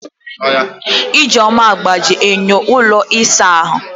Ijeoma gbajiri enyo ụlọ ịsa ahụ.